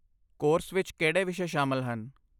Course ਵਿੱਚ ਕਿਹੜੇ ਵਿਸ਼ੇ ਸ਼ਾਮਲ ਹਨ?